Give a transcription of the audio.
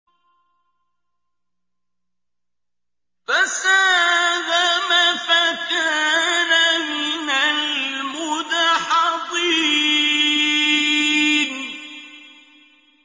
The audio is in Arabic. فَسَاهَمَ فَكَانَ مِنَ الْمُدْحَضِينَ